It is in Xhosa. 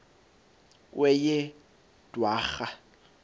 kweyedwarha